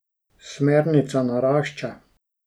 Smernica narašča.